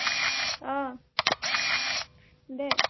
আহ দে